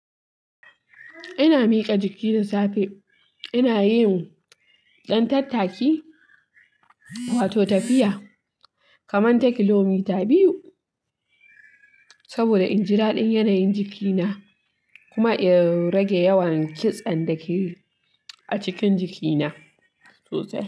Ina miƙa jiki da safe, ina yiwa ɗan tattaki wato tafiya kamar takilomita biyu saboda in ji raɗin yanayin jikina kuma in rage yawan kitsen da ke a cikin jikina sosai.